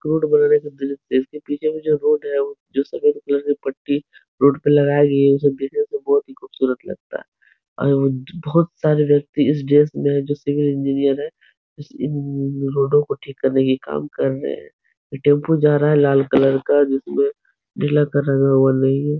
Road बन रहा है कि इसके पीछे में जो रोड है वो जो सफ़ेद कलर की पट्टी रोड पे लगाई गयी है वो सब देखे तो बहोत ही खूबसूरत लगता अयोध बहोत सारे व्यक्ति इस ड्रेस में हैं जो सिविल इंजीनियर हैं। इस इन रोडों को ठीक करने की काम कर रहे हैं। एक टेम्पो जा रहा है लाल कलर का जिसमें नीला कलर का वो नहीं है।